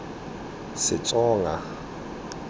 setsonga